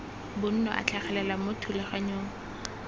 bonno a tlhagelela mo thulaganyong